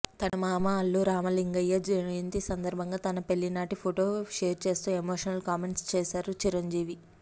తన మామ అల్లు రామలింగయ్య జయంతి సందర్భంగా తన పెళ్లినాటి ఫోటో షేర్ చేస్తూ ఎమోషనల్ కామెంట్స్ చేశారు చిరంజీవి